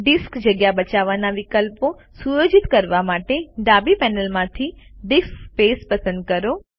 disk જગ્યા બચાવવાના વિકલ્પો સુયોજિત કરવા માટે ડાબી પેનલમાંથી ડીઆઇએસસી સ્પેસ પસંદ કરો